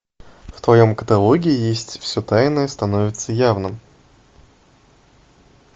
в твоем каталоге есть все тайное становится явным